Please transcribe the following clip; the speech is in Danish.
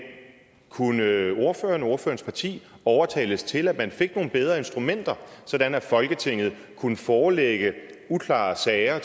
kunne ordføreren og ordførerens parti overtales til at man fik nogle bedre instrumenter sådan at folketinget kunne forelægge uklare sager